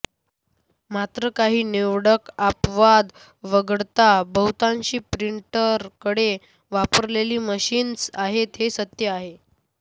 मात्र काही निवडक अपवाद वगळता बहुतांशी प्रिंटरकडे वापरलेली मशीन्स आहेत हे सत्य आहे